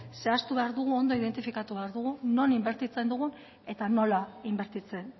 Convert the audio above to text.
zehatu behar dugu ondo identifikatu behar dugu non inbertitzen dugun eta nola inbertitzen